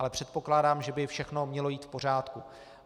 Ale předpokládám, že by všechno mělo jít v pořádku.